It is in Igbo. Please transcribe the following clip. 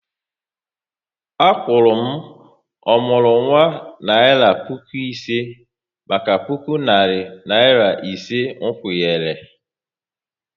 A kwuru m ọmụrụnwa naira puku ise maka puku narị naira ise nkwụnye ré